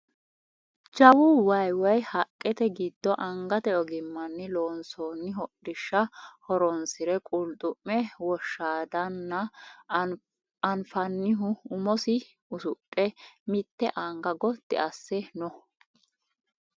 Jawu waye woye hayiiqete giddo angate ogimmanni loonsoonni hodhishsha horonsire qulxu'me woshshaadanna anfannihu umosi usudhe mitte anga gotti asse no